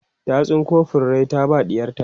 ta tsinko furrai ta ba ɗiyarta